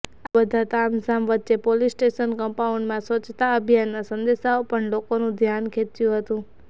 આ બધા તામઝામ વચ્ચે પોલિસ સ્ટેશન કંપાઉન્ડમાં સ્વચ્છતા અભિયાનના સંદેશાએ પણ લોકોનુ ધ્યાન ખેંચ્યુ હતું